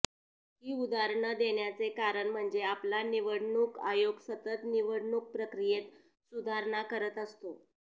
ही उदाहरणं देण्याचे कारण म्हणजे आपला निवडणूक आयोग सतत निवडणूक प्रक्रियेत सुधारणा करत असतो